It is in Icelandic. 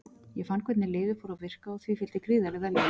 Ég fann hvernig lyfið fór að virka og því fylgdi gríðarleg vellíðan.